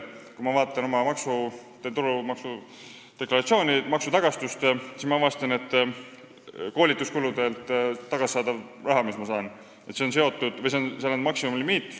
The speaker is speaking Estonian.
Kui ma vaatan oma tuludeklaratsiooni ja maksutagastust, siis ma avastan, et koolituskuludelt tagasi saadavale rahale on pandud maksimumlimiit.